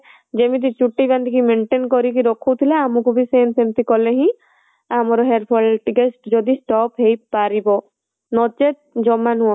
ଯେମିତି ଚୁଟି ବାନ୍ଧିକି maintain କରିକି ରଖୁଥିଲେ ଆମକୁ ବି same ସେମିତି କଲେ ହିଁ ଆମର hairfall ଟିକେ ଯଦି stop ହେଇପାରିବ ନଚେତ ଜମା ନୁହଁ